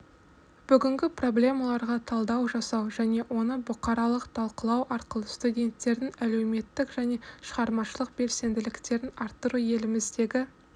бүгінгі проблемаларға талдау жасау және оны бұқаралық талқылау арқылы студенттердің әлеуметтік және шығармашылық белсенділіктерін арттыру еліміздегі